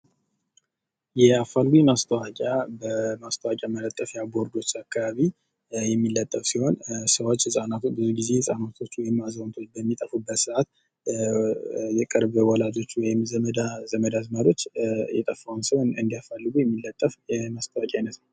የአፋልጉኝ ማስጣዎቂያ በማስታዎቁያ ቦርዶች አካባቢ የሚለጠፍ ሲሆን ሰዎች ብዙ ጊዜ ህጻናትን ወይም አዛውንቶች በሚጠፊበት ሰዓት የቅርብ ዘመድ አዝማዶች የጠፋውን ሰው ለመፈለግ የሚለጠፍ የማስታዎቂያ አይነት ነው።